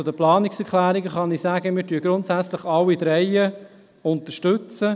Zu den Planungserklärungen kann ich sagen, dass wir grundsätzlich alle drei unterstützen.